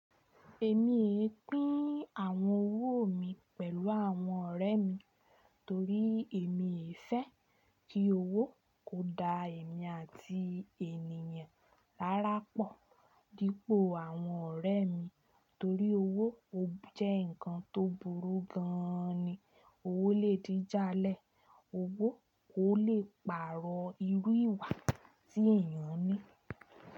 Èmi è pín àwọn owó mi pẹ̀lú àwọn ọ̀rẹ́ mi torí èmi fẹ́ kí owó kó dá èmi àti ènìyàn rára pọ̀. Dípò àwọn ọ̀rẹ́ mi torí owó i jẹ́ nǹkan tó burú gan an ni. Owó lè díjalẹ̀, owó kò lè pàrọ̀ irú ìwà tí èèyàn ní.